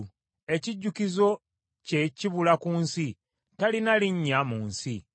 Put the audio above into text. Ekijjukizo kye kibula ku nsi; talina linnya mu nsi.